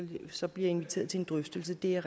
så bliver inviteret til en drøftelse er